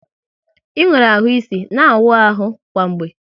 Ị nwere ahụ isi, na awụ ahụ kwa mgbe!